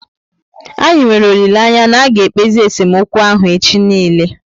Anyị nwere olileanya na aga ekpezi esemokwu ahụ echi niile